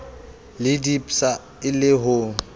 le dpsa e le ho